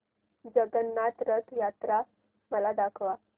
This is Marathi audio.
जगन्नाथ रथ यात्रा मला दाखवा